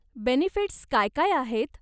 Benefits काय काय आहेत?